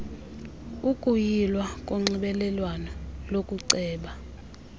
ukuyilwa konxibelelwano lokuceba